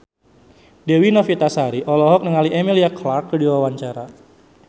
Dewi Novitasari olohok ningali Emilia Clarke keur diwawancara